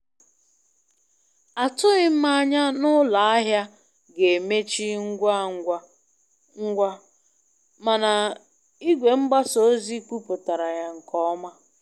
Atughị m anya na ụlọ ahịa ga-emechi ngwa ngwa ngwa, mana igwe mgbasa ozi kwupụtara ya nke ọma.